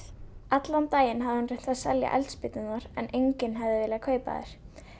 allan daginn hafði hún reynt að selja eldspýturnar en enginn hafði viljað kaupa þær